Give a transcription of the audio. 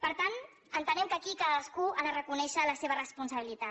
per tant entenem que aquí cadascú ha de reconèixer la seva responsabilitat